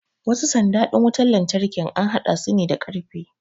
wasu sanda din wutar lantarkin an haɗa su ne da karfe